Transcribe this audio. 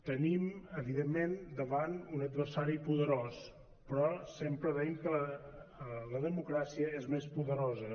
tenim evidentment davant un adversari poderós però sempre deim que la democràcia és més poderosa